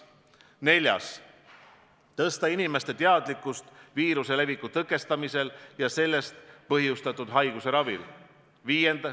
Neljandaks, tõsta inimeste teadlikkust viiruse leviku tõkestamisel ja sellest põhjustatud haiguse ravil.